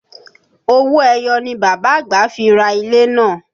Owó ẹyọ ni Bàbá àgbà fi ra ilẹ̀ náà